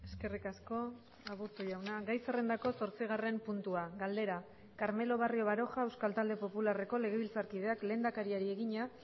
eskerrik asko aburto jauna gai zerrendako zortzigarren puntua galdera carmelo barrio baroja euskal talde popularreko legebiltzarkideak lehendakariari egina